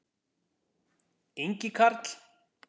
Ingi Karl.